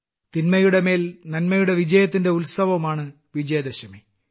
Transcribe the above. തിന്മയുടെ മേൽ നന്മയുടെ വിജയത്തിന്റെ ഉത്സവമാണ് വിജയദശമി